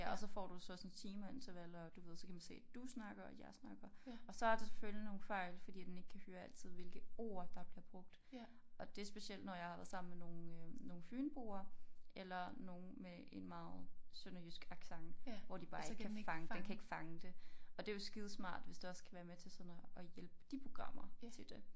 Ja og så får du så sådan timeintervaller og du ved så kan man se du snakker og jeg snakker og så er der selvfølgelig nogle fejl fordi at den ikke kan høre altid hvilke ord der bliver brugt og det specielt når jeg har været sammen med nogle øh nogle fynboer eller nogen med en meget sønderjysk accent hvor de bare ikke kan fange den kan ikke fange det og det jo skidesmart hvis det også kan være med til sådan at at hjælpe de programmer til det